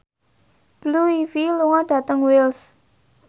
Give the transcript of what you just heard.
Blue Ivy lunga dhateng Wells